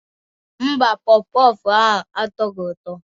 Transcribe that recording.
Mba, pọff pọff ahụ atọghị ụtọ.